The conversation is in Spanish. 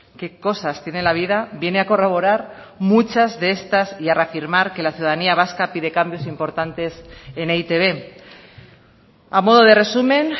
qué cosas tiene la vida viene a corroborar muchas de estas y a reafirmar que la ciudadanía vasca pide cambios importantes en e i te be a modo de resumen